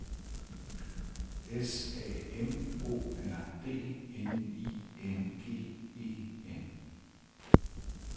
S A M O R D N I N G E N